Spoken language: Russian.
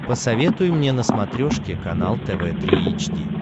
посоветуй мне на смотрешке канал тв три эйч ди